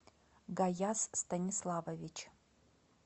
гаяс станиславович